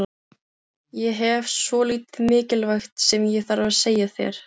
Ég hef svolítið mikilvægt sem ég þarf að segja þér.